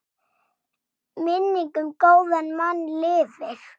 Minning um góðan mann lifir.